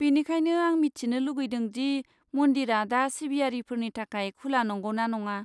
बेनिखायनो, आं मिथिनो लुगैदों दि मन्दिरा दा सिबियारिफोरनि थाखाय खुला नंगौना नङा।